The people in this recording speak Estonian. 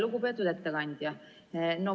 Lugupeetud ettekandja!